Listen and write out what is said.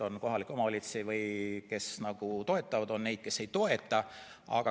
On kohalikke omavalitsusi, kes toetavad, ja on neid, kes ei toeta.